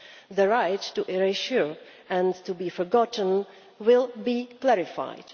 The right to erasure and to be forgotten will be clarified.